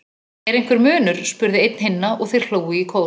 Er einhver munur? spurði einn hinna og þeir hlógu í kór.